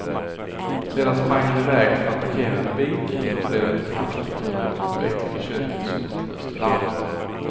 Sedan sprang han i väg för att parkera en bil och då blev det kraftig rökutveckling i köket som utlöste larmet.